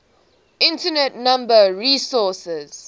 internet number resources